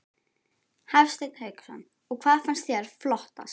Hafsteinn Hauksson: Og hvað fannst þér flottast?